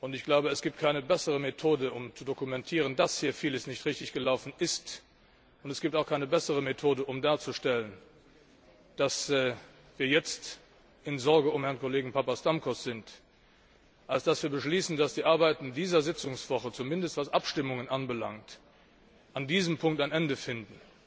Ich glaube, es gibt keine bessere Methode, um zu dokumentieren, dass hier vieles nicht richtig gelaufen ist, es gibt auch keine bessere Methode, um darzustellen, dass wir jetzt in Sorge um Herrn Kollegen Papastamkos sind, als zu beschließen, dass die Arbeiten dieser Sitzungswoche, zumindest was Abstimmungen anbelangt, an diesem Punkt ein Ende finden,